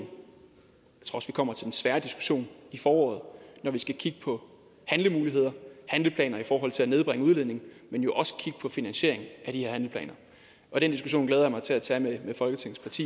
kommer til den svære diskussion i foråret når vi skal kigge på handlemuligheder handleplaner i forhold til at nedbringe udledningen men jo også kigge på finansieringen af de her handleplaner og den diskussion glæder jeg mig til at tage med folketingets